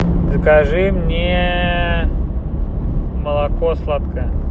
закажи мне молоко сладкое